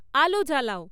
আলো জ্বালাও